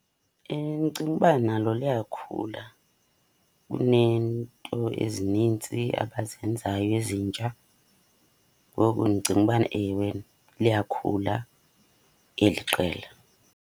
Ndicinga uba nalo liyakhula, kuneento ezinintsi abazenzayo ezintsha. Ngoko ndicinga ubana, ewe, liyakhula eli qela.